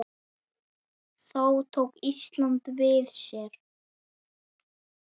Þá tók Ísland við sér.